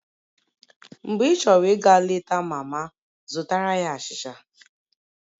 Mgbe ịchọrọ ịga leta mama, zụtara ya achịcha